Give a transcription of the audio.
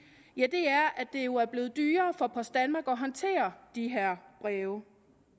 er at det jo er blevet dyrere for post danmark at håndtere de her have